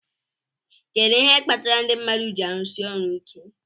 Kedu ihe kpatara ndị mmadụ ji árụ̀si ọrụ iké?